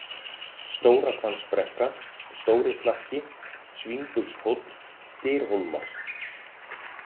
Stórahvammsbrekka, Stórislakki, Svínbugshóll, Dyrhólmar